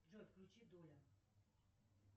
джой включи доля